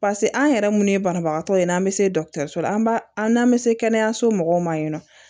pase an yɛrɛ mun ye banabagatɔ in an be se dɔkutɛriso la an b'a an n'an bɛ se kɛnɛyaso mɔgɔw ma yen nɔ